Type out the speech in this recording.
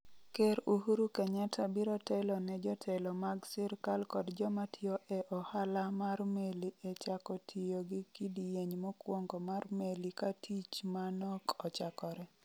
Ker Uhuru Kenyatta biro telo ne jotelo mag sirkal kod joma tiyo e ohala mar meli e chako tiyo gi kidieny mokwongo mar meli ka tich ma nok ochakore.